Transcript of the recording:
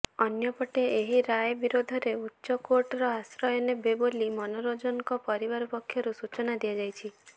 ଅନ୍ୟପଟେ ଏହି ରାୟ ବିରୋଧରେ ଉଚ୍ଚ କୋର୍ଟର ଆଶ୍ରୟ ନେବେ ବୋଲି ମନୋରଂଜନଙ୍କ ପରିବାର ପକ୍ଷରୁ ସୂଚନା ଦିଆଯାଇଛି